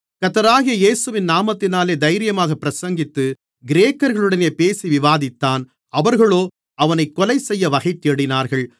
கர்த்தராகிய இயேசுவின் நாமத்தினாலே தைரியமாகப் பிரசங்கித்து கிரேக்கர்களுடனே பேசி விவாதித்தான் அவர்களோ அவனைக் கொலைசெய்ய வகைதேடினார்கள்